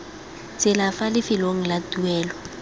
tsela fa lefelong la tuelo